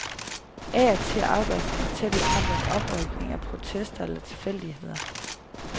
Af og til afgøres den tætte kamp om oprykning af protester eller tilfældigheder.